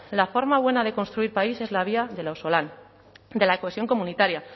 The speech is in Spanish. la forma buena de construir país es la vía del auzolan de la cohesión comunitaria